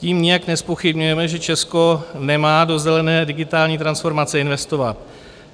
Tím nijak nezpochybňujeme, že Česko nemá do zelené digitální transformace investovat.